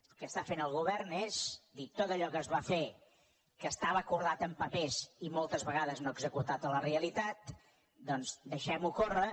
el que està fent el govern és dir tot allò que es va fer que estava acordat en papers i moltes vegades no executat a la realitat doncs deixem ho córrer